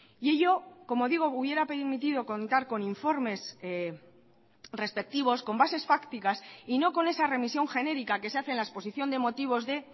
y ello como digo hubiera permitido contar con informes respectivos con bases fácticas y no con esa remisión genérica que se hace en la exposición de motivos de